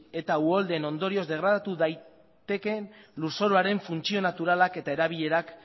eta uholdeen ondorioz degradatu daitekeen lurzoruaren funtzio naturalak eta erabilerak